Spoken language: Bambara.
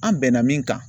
An bɛnna min kan